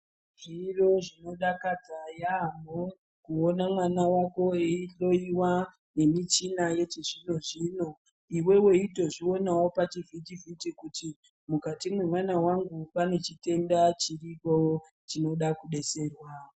Zviro zvinodakadza yaamho kuona mwana wako eihlowiwa nemichina yechizvino-zvino. Iwe weitozvionawo pachivhiti-vhiti kuti mukati mwemwana wangu pane chitenda chiripo chinoda kudetserwa.